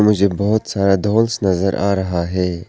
मुझे बहुत सारा ढोलक नजर आ रहा है।